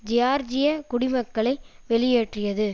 ஜியார்ஜிய குடிமக்களை வெளியேற்றியது